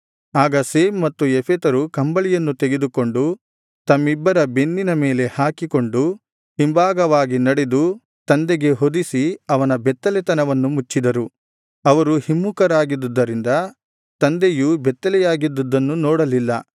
ಆಗ ಶೇಮ್ ಮತ್ತು ಯೆಫೆತರು ಕಂಬಳಿಯನ್ನು ತೆಗೆದುಕೊಂಡು ತಮ್ಮಿಬ್ಬರ ಬೆನ್ನಿನ ಮೇಲೆ ಹಾಕಿಕೊಂಡು ಹಿಂಭಾಗವಾಗಿ ನಡೆದು ತಂದೆಗೆ ಹೊದಿಸಿ ಅವನ ಬೆತ್ತಲೆತನವನ್ನು ಮುಚ್ಚಿದರು ಅವರು ಹಿಮ್ಮುಖರಾಗಿದ್ದುದ್ದರಿಂದ ತಂದೆಯು ಬೆತ್ತಲೆಯಾಗಿದ್ದದ್ದನ್ನು ನೋಡಲಿಲ್ಲ